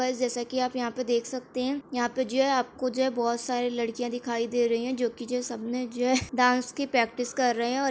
guys जैसा कि आप यहां पे देख सकते है यहां पे जो है आपको जो है बहुत सारी लड़कियां दिखाई दे रही है जो कि जो सबने जो है डांस की प्रैक्टिस कर रहे है और --